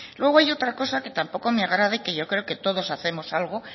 luego hay otra cosa que tampoco me agrada y que yo creo que todos hacemos algo